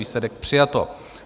Výsledek: přijato.